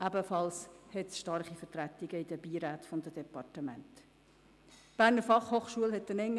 Auch in den Beiräten der einzelnen Departemente sind diese stark vertreten.